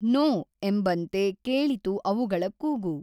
No, ಎಂಬಂತೆ ಕೇಳಿತು ಅವುಗಳ ಕೂಗು!